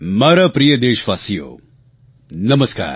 મારા પ્રિય દેશવાસીઓ નમસ્કાર